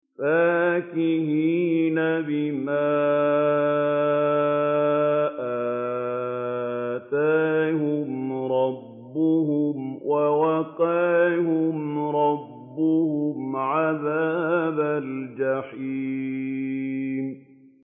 فَاكِهِينَ بِمَا آتَاهُمْ رَبُّهُمْ وَوَقَاهُمْ رَبُّهُمْ عَذَابَ الْجَحِيمِ